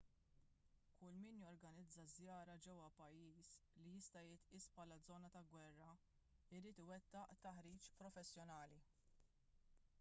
kull min jorganizza żjara ġewwa pajjiż li jista' jitqies bħala żona ta' gwerra jrid iwettaq taħriġ professjonali